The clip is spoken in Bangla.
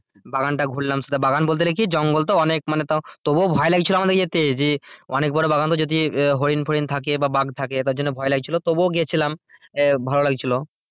বাগানটা ঘুরলাম সেটা বাগান বলতে গেলে কি জঙ্গল তো অনেক মানে তা ও তবুও ভয় লাগছিল আমাদের যেতে যে অনেক বড়ো বাগান যদি হরিণ ফরিন থাকে বা বাঘ থাকে তার জন্য ভয় লাগছিলো তবুও গিয়েছিলাম এ ভালো লাগছিলো।